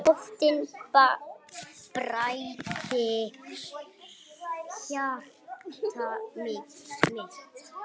Nóttin bræddi hjarta mitt.